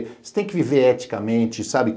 Você tem que viver eticamente, sabe?